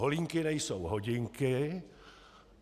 Holínky nejsou hodinky.